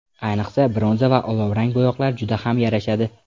Ayniqsa, bronza va olovrang bo‘yoqlar juda ham yarashadi.